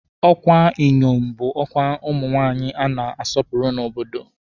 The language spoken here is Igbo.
Ọkwa Inyom bụ ọkwa ụmụ nwaanyị a na-asọpụrụ n'obodo.